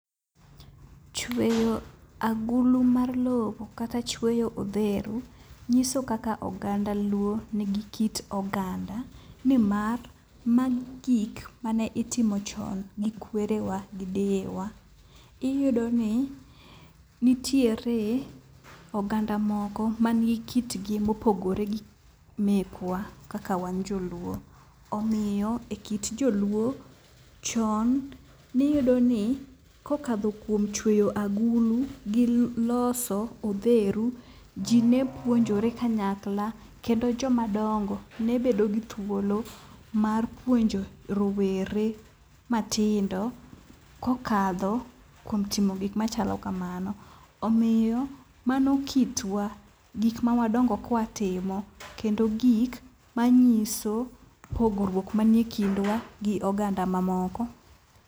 Chweyo agulu mar lowo kata chweyo odheru nyiso kaka oganda luo nigi kit oganda. Nimar magi gik mane itimo chon gi kwere wa gi deye wa. Iyudo ni nitiere oganda moko man gi kitgi mopogore gi mekwa kaka wan joluo. Omiyo e kit joluo chon niyudo ni kokadho kuom chweyo agulu gi loso osheru, ji ne puonjore kanyakla kendo joma dongo ne bedo gi thuolo mar puonjo rowere matindo kokadho kuom timo gik machalo kamano. Omiyo mano kitwa, gik ma wadongo kwatimo. Kendo gik ma nyiso pogruok manie kindwa gi oganda ma moko.